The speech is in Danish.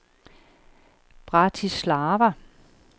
Bratislava